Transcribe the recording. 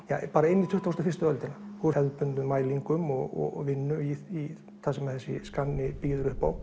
bara inn í tuttugustu og fyrstu öldina úr hefðbundnum mælingum og vinnu í það sem að þessi skanni bíður upp á